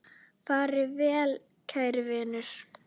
Far vel, kæri vinur.